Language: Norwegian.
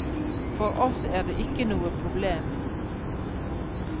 For oss er det ikke noe problem.